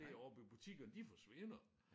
Det oppe i butikkerne de forsvinder